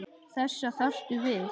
Þessa þarftu við.